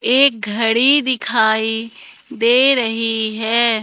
एक घड़ी दिखाई दे रही है।